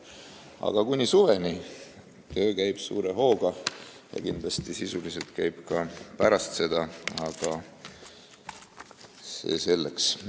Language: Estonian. Aga kuni suveni käib töö suure hooga ja kindlasti sisuliselt käib ka pärast seda, kuid see selleks.